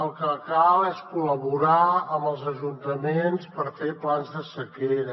el que cal és col·laborar amb els ajuntaments per fer plans de sequera